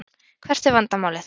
Hvert er vandamálið?